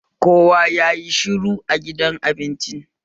Kowa yayi shiru a gidan abincin